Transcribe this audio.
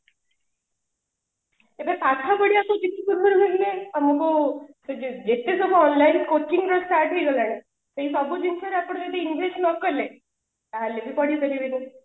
ଏବେ ପାଠ ପଢିବା କୁ ଯେତେ ସୁବିଧା ହେଲାଣି ସେ ଯେତେ ଜାଗା online coaching ରୁ start ହେଇ ଗଲାଣି ସେ ସବୁଜିନିଷରେ ଏପଟେ ଯଦି english ନ କଲେ ତାହାଲେ ବି ପଢି ପାରିବିନି